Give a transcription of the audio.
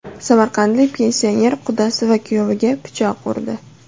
Samarqandlik pensioner qudasi va kuyoviga pichoq urdi.